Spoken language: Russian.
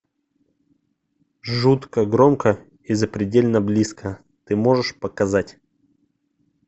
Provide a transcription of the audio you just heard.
жутко громко и запредельно близко ты можешь показать